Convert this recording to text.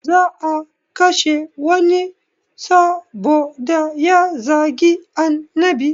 Za a kashe wani saboda ya zagi annabi